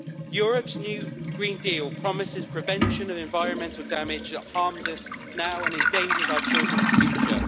Europe's new Green Deal promises prevention of environmental damage that harms us now and endangers our children's future.